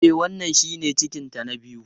E, wannan shine cikinta na biyu.